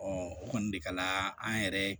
o kɔni de kɛla an yɛrɛ ye